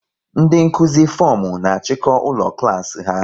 Ndị Nkụzi fomu na achiko ụlọ klas ha